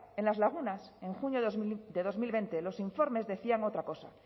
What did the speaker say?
en en las lagunas en junio de dos mil veinte los informes decían otra cosa